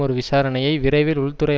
ஒரு விசாரணையை விரைவில் உள்துறை